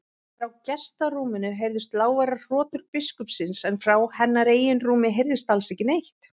Frá gestarúminu heyrðust lágværar hrotur biskupsins en frá hennar eigin rúmi heyrðist alls ekki neitt.